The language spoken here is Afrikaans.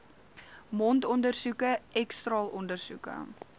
mondondersoeke x straalondersoeke